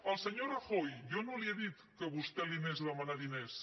al senyor rajoy jo no li he dit que vostè li anés a demanar diners